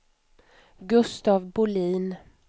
Gustaf Bolin